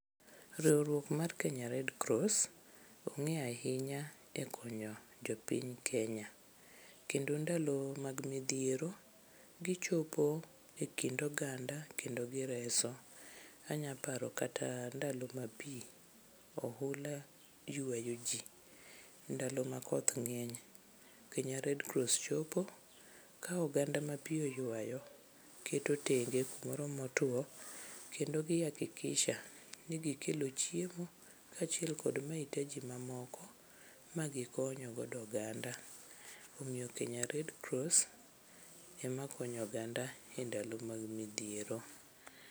Riwruok mar Kenya Red Cross ong'e ahinya e konyo jopiny Kenya. Kendo ndalo mag midhiero, gichopo e kind oganda kendo gireso. Anyaparo kata ndalo ma pi, ohula ywayo ji, ndalo ma koth ng'eny, Kenya Red Cross chopo. Ka oganda ma pi oywayo keto tenge kumoro motwo, kendo gi hakikisha ni gikelo chiemo kaachiel kod mahitaji mamoko ma gikonyogo oganda. Omiyo Kenya Red Cross ema konyo oganda e ndalo mag midhiero.